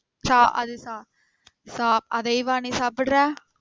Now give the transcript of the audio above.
சா அது சா அதையுமா நீ சாப்பிடுற?